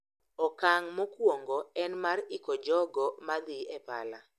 Okang` mokuongo en mar iko jogo ma dhi e pala.